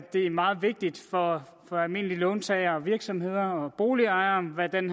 det meget vigtigt for almindelige låntagere og virksomheder og boligejere hvad den